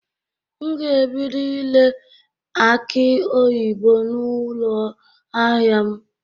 M ga-ebido ire akị oyibo n'ụlọ ahịa m.